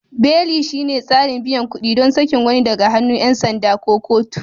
Beli shine tsarin biyan kuɗi ɗon sakin wani daga hannun 'yan sanda ko kotu.